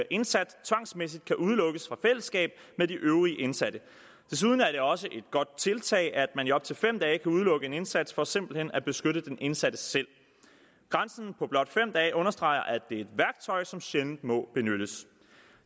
indsat tvangsmæssigt kan udelukkes fra fællesskab med de øvrige indsatte desuden er det også et godt tiltag at man i op til fem dage kan udelukke en indsat for simpelt hen at beskytte den indsatte selv grænsen på blot fem dage understreger at det er et værktøj som sjældent må benyttes